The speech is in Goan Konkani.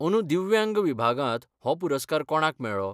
अंदूं दिव्यांग विभागांत हो पुरस्कार कोणाक मेळ्ळो?